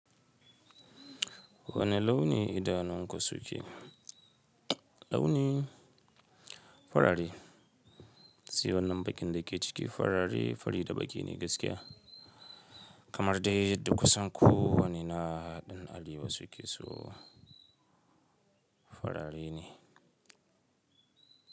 Wane launi idanunku suke? Launin farare. Se wannan bakin da ke ciki farare da baki ne gaskiya. Kamar dai duk kusan ko wani na ɗan arewa su ke so fararre ne.